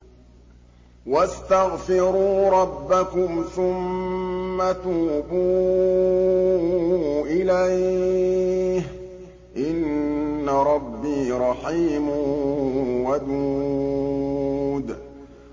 وَاسْتَغْفِرُوا رَبَّكُمْ ثُمَّ تُوبُوا إِلَيْهِ ۚ إِنَّ رَبِّي رَحِيمٌ وَدُودٌ